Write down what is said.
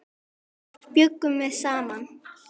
Þar bjuggum við saman.